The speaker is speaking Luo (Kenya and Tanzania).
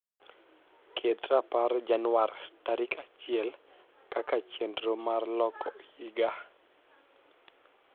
ket rapar januar tarik achiel kaka chienro mar loko higa